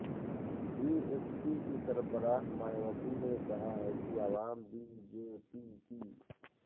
be S P کی سربراہ مایاوتی نے کہا ہے کہ عوام بی جے پی کی